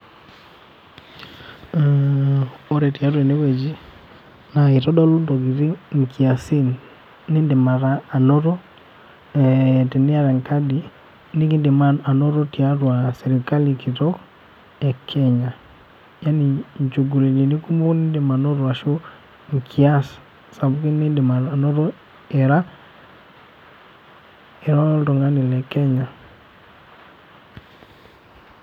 Ore tiatua enewueji, naa itodolu intokiting inkiasin nidim anoto, teniata enkadi, nidim anoto tiatua serkali kitok,e Kenya. Yani inchugulitini kumok nidim anoto, ashu inkiasin sapukin nidim anoto ira, ira oltung'ani le Kenya.